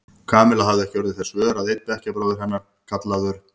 Kamilla hafði ekki orðið þess vör að einn bekkjarbróðir hennar, kallaður